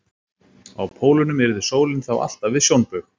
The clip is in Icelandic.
Á pólunum yrði sólin þá alltaf við sjónbaug.